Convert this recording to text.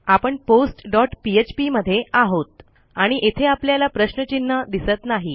आपण postपीएचपी मध्ये आहोत आणि येथे आपल्याला प्रश्नचिन्ह दिसत नाही